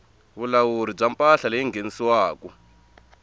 vulawuri bya mpahla leyi nghenisiwaku